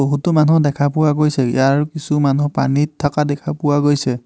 বহুতো মানু্হ দেখা পোৱা গৈছে ইয়াৰ কিছু মানুহ পানীত থাকা দেখা পোৱা গৈছে।